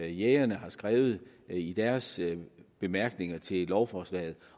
jægerne har skrevet i deres bemærkninger til lovforslaget